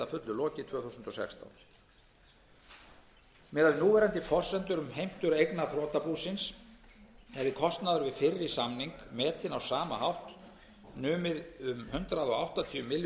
lokið tvö þúsund og sextán miðað við núverandi forsendur um heimtur eigna þrotabúsins hefði kostnaður við fyrri samning metinn á sama hátt numið um hundrað áttatíu milljörðum